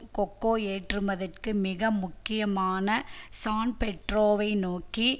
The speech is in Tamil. கொக்கோ ஏற்றுமதிக்கு மிக முக்கியமான சான்பெட்ரோவை நோக்கி